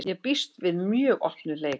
Ég býst við mjög opnum leik.